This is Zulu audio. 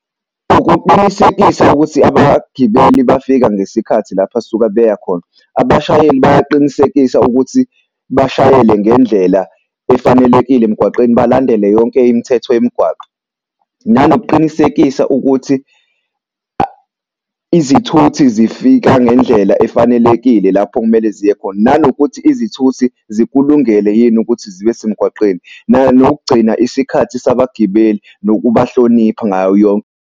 Ukuqinisekisa ukuthi abagibeli bafika ngesikhathi lapho asuke beya khona. Abashayeli bayaqinisekisa ukuthi bashayele ngendlela efanelekile emgwaqeni balandele yonke imithetho yemigwaqo. Nanokuqinisekisa ukuthi izithuthi zifika ngendlela efanelekile lapho okumele ziye khona. Nanokuthi izithuthi zikulungele yini ukuthi zibe semgwaqeni. Nokugcina isikhathi sabagibeli nokubahlonipha ngayo .